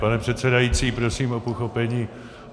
Pane předsedající, prosím o pochopení.